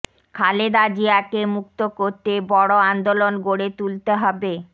খালেদা জিয়াকে মুক্ত করতে বড় আন্দোলন গড়ে তুুলতে হবে